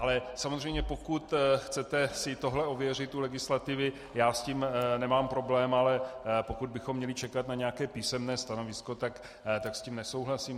Ale samozřejmě pokud chcete si tohle ověřit u legislativy, já s tím nemám problém, ale pokud bychom měli čekat na nějaké písemné stanovisko, tak s tím nesouhlasím.